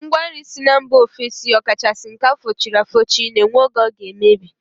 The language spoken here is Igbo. Ngwa nri si mba ofesi ọ kachasị nke a fụchiri afụchi na-enwe oge ọ ga-emebi